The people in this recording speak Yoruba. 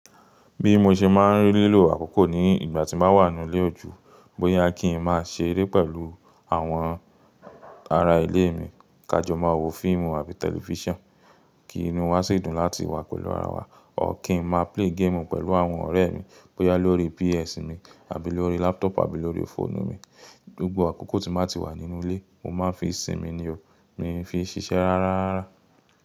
Bí mo ṣe máa ń rí lílò àkókò ní ìgbà tí mo wà nínú ilé ojú, bóyá kí n máa ṣe eré pẹ̀lú àwọn ará ilé mi, ká jọ máa wo fíìmù àbí tẹlifíṣàn kí inú wa sì dùn láti wà pẹ̀lú ara wa, or kí n máa play game pẹ̀lú àwọn ọ̀rẹ́ mi, bóyá lórí PS mi àbí lórí laptop àbí lórí fóònù mi. Gbogbo àkókò tí mo bá ti wà nínú ilé, mo máa ń fi sí mi ni o, mi fi ń ṣiṣẹ́ rárá.